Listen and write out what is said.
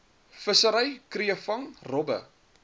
vissery kreefvang robbe